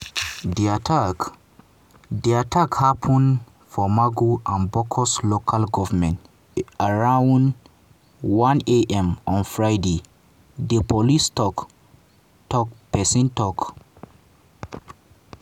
“di attack “di attack happun for mangu and bokkos local goment around 1:00 am on friday" di police tok-tok pesin tok.